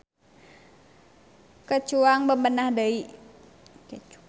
Ke cuang bebenah deui.